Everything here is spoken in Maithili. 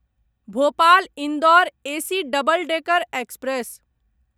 Bhopal Indore AC double decker express